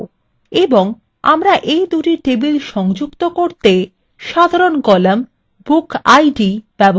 এবং আমরা এই দুই টেবিল সংযুক্ত করতে সাধারণ column bookid ব্যবহার করবো